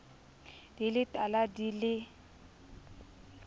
di le tala di le